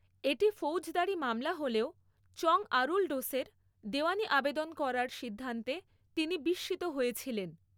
এটি ফৌজদারি মামলা হলেও চঙ আরুলডোসের, দেওয়ানি আবেদন করার সিদ্ধান্তে তিনি বিস্মিত হয়েছিলেন।